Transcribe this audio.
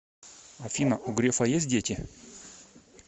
афина у грефа есть дети